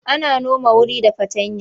Ana noma wuri da fartanya.